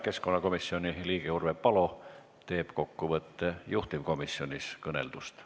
Keskkonnakomisjoni liige Urve Palo teeb kokkuvõtte juhtivkomisjonis kõneldust.